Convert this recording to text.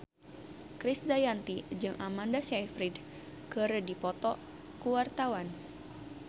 Krisdayanti jeung Amanda Sayfried keur dipoto ku wartawan